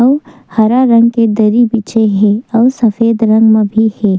अउ हरा रंग के दरी बिछे हे अउ सफ़ेद रंग म भी हे।